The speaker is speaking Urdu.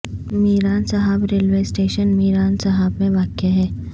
میران صاحب ریلوے اسٹیشن میران صاحب میں واقع ہے